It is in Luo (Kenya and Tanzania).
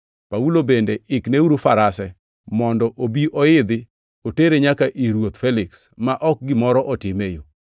Paulo bende ikneuru farase mondo obi oidhi otere nyaka ir ruoth Feliks, ma ok gimoro otime e yo.”